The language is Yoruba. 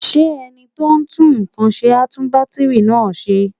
Ṣé ẹni tó ń tún nǹkan ṣe á tún bátìrì náà ṣe?